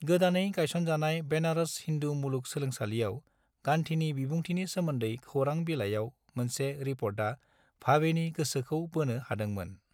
गोदानै गायसनजानाय बेनारस हिन्दु मुलुग सोलोंसालिआव गांधीनि बिबुंथिनि सोमोन्दै खौरां बिलाइयाव मोनसे रिपर्टा भावेनि गोसोखौ बोनो हादोंमोन।